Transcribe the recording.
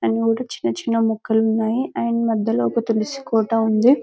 చిన్న చిన్న మొక్కలు ఉన్నాయి అండ్ మధ్యలో ఒక తులసి కోట ఉంది --